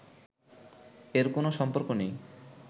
এর কোন সম্পর্ক নেই